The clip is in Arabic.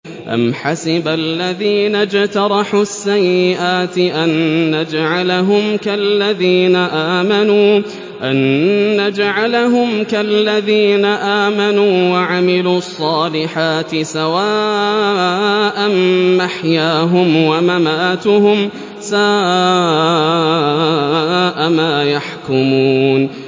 أَمْ حَسِبَ الَّذِينَ اجْتَرَحُوا السَّيِّئَاتِ أَن نَّجْعَلَهُمْ كَالَّذِينَ آمَنُوا وَعَمِلُوا الصَّالِحَاتِ سَوَاءً مَّحْيَاهُمْ وَمَمَاتُهُمْ ۚ سَاءَ مَا يَحْكُمُونَ